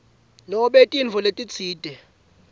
nobe tintfo letitsite